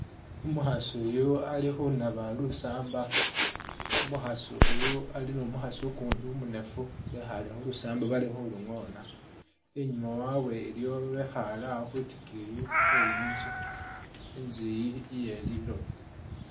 Umukhaasi uyu ali khunaba lusamba, umukhaasi uyu ali ni mukhaasi ukundi umunefu bekhaale khulusamba bali khulungoona, i'nyuma wabwe waliwo babekhaale awo khwitikiyi khweyi nzu, i'nzu iyi iyelilooba